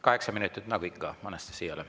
Kaheksa minutit nagu ikka Anastassiale.